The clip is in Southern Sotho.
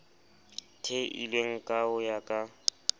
theilweng ka ho ya ka